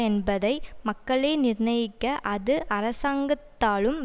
என்பதை மக்களே நிர்ணயிக்க அது அரசாங்கத்தாலும்